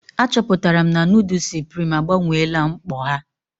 Achọpụtara m na nudu suprim agbanweela mkpọ ha.